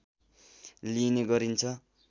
लिइने गरिन्छ